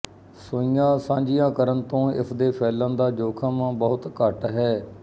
ਸੂਈਆਂ ਸਾਂਝੀਆਂ ਕਰਨ ਤੋਂ ਇਸਦੇ ਫੈਲਣ ਦਾ ਜੋਖਮ ਬਹੁਤ ਘੱਟ ਹੈ